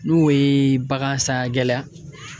N'o ye bagansan gɛlɛya